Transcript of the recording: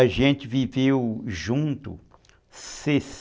A gente viveu junto sessen